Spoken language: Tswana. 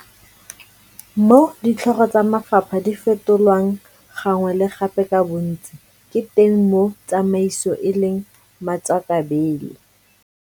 Mo ditlhogo tsa mafapha di fetolwang gangwe le gape ka bontsi, ke teng mo tsamaiso e leng matswakabele.